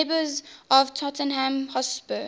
neighbours tottenham hotspur